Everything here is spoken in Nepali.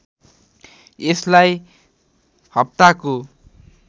यसलाई हप्ताको